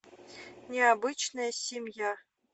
необычная семья